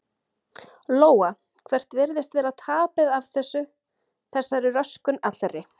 Lóa: Hvert virðist vera tapið af þessu, þessari röskun allri?